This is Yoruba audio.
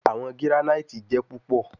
Awọn giranaiti jẹ pupọ